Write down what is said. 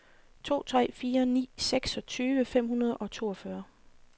to tre fire ni seksogtyve fem hundrede og toogfyrre